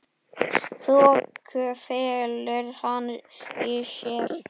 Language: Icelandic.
Þoku felur hann í sér.